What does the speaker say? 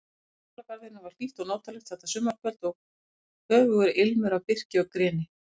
Í Hljómskálagarðinum var hlýtt og notalegt þetta sumarkvöld og höfugur ilmur af birki og greni.